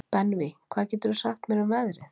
Benvý, hvað geturðu sagt mér um veðrið?